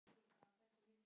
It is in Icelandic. Fínan kagga!